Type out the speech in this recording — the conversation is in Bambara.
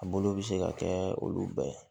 A bolo bɛ se ka kɛ olu bɛɛ ye